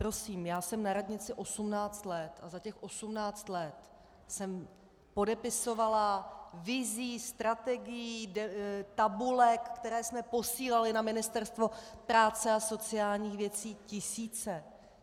Prosím, já jsem na radnici 18 let a za těch 18 let jsem podepisovala vizí, strategií, tabulek, které jsme posílali na Ministerstvo práce a sociálních věcí, tisíce.